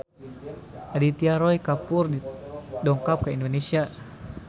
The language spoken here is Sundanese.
Aditya Roy Kapoor dongkap ka Indonesia